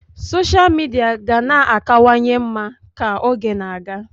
Sosha Midia ga na-akawanye mma ka oge na-aga.